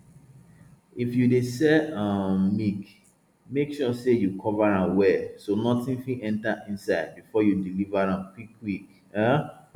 if you dey sell um milk make sure sey you cover am well so nothing fit enter inside before you deliver am quick quick um